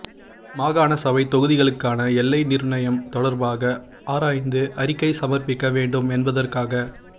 மாகாண சபைத் தொகுதிகளுக்கான எல்லை நிர்ணயம் தொடர்பாக ஆராய்ந்து அறிக்கை சமர்ப்பிக்க வேண்டும் என்பதற்காக